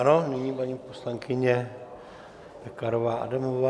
Ano, nyní paní poslankyně Pekarová Adamová.